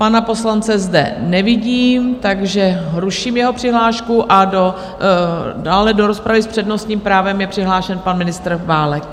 Pana poslance zde nevidím, takže ruším jeho přihlášku, a dále do rozpravy s přednostním právem je přihlášen pan ministr Válek.